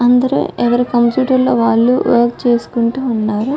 అందరూ ఎవరి కంప్యూటర్ లో వాళ్ళు వర్క్ చేసుకుంటూ ఉన్నారు